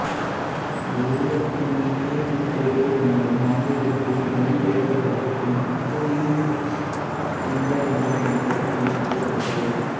தெய்வத்தினின்டே விக்ருதிகள் என்பது ஆங்கிலத்தில் மொழி பெயர்க்கப்பட்டு பெங்குயின் புக்ஸ் இந்தியா என்ற பதிப்பகம் வெளியிட்டுள்ளது